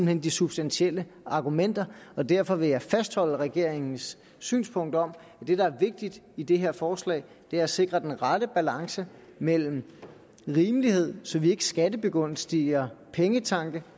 hen de substantielle argumenter og derfor vil jeg fastholde regeringens synspunkt om at det der er vigtigt i det her forslag er at sikre den rette balance mellem rimelighed så vi ikke skattebegunstiger pengetanke